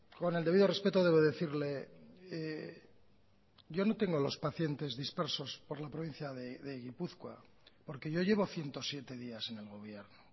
con el debido respeto debo decirle yo no tengo los pacientes dispersos por la provincia de gipuzkoa porque yo llevo ciento siete días en el gobierno